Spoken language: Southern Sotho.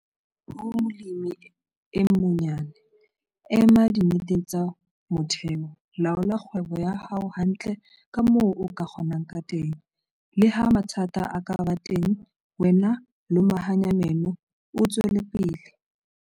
Ho molemi e monyane - Ema dinneteng tsa motheho. Laola kgwebo ya hao hantle ka moo o ka kgonang ka teng, le ha mathata a ka ba teng, wena lomahanya meno, o tswele pele.